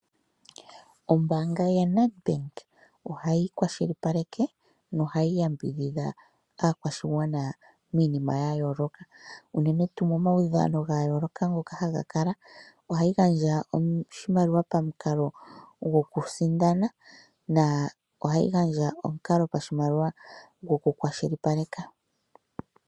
Ombaanga yaNedbank ohayi kwashilipaleke yo ohayi yambidhidha aakwashigwana miinima yayoloka unene tuu momaudhano ga yoloka ngoka haga kala ,ohayi gandja oshimaliwa pamukalo go kusindana na ohayi gandja oshimaliwa pamukalo go kukwashilipaleka.